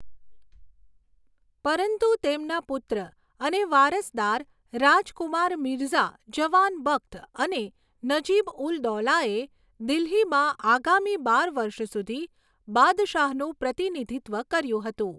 પરંતુ તેમના પુત્ર અને વારસદાર રાજકુમાર મિર્ઝા જવાન બખ્ત અને નજીબ ઉલ દૌલાએ દિલ્હીમાં આગામી બાર વર્ષ સુધી બાદશાહનું પ્રતિનિધિત્વ કર્યું હતું.